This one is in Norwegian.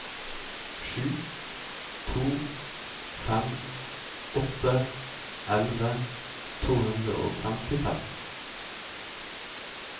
sju to fem åtte elleve to hundre og femtifem